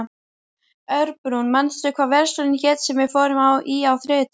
Örbrún, manstu hvað verslunin hét sem við fórum í á þriðjudaginn?